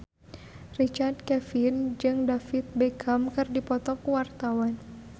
Richard Kevin jeung David Beckham keur dipoto ku wartawan